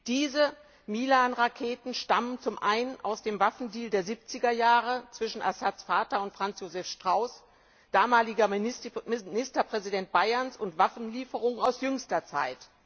Diese Milan Raketen stammen zum einen aus dem Waffendeal der 70er Jahre zwischen Assads Vater und Franz Josef Strauß, damaliger Ministerpräsident Bayerns, und zum anderen aus Waffenlieferungen aus jüngster Zeit.